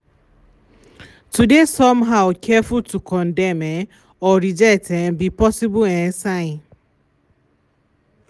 to de some how careful to condem um or reject um be possible um sign.